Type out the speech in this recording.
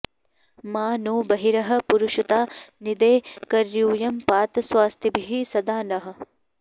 मा नो बर्हिः पुरुषता निदे कर्यूयं पात स्वस्तिभिः सदा नः